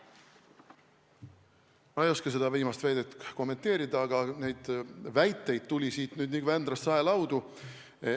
Ma ei oska seda viimast väidet kommenteerida, aga neid väiteid tuli siit nüüd nagu Vändrast saelaudu.